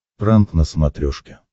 пранк на смотрешке